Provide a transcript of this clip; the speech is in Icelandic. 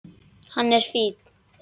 Hann er fínn.